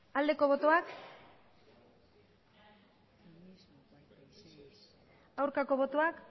aldeko botoak aurkako botoak